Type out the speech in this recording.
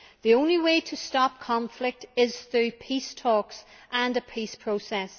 The only way to stop conflict is through peace talks and a peace process.